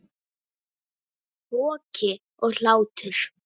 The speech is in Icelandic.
Hroki og hlátur.